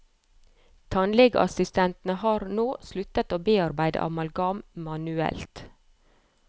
Tannlegeassistentene har nå sluttet å bearbeide amalgam manuelt.